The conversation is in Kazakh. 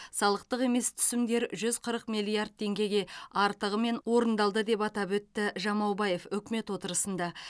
салықтық емес түсімдер жүз қырық миллиард теңгеге артығымен орындалды деп атап өтті жамаубаев үкімет отырысында